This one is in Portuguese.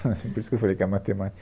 Por isso que eu falei que a matemática...